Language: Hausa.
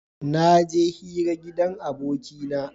Naje hira a gidan abokina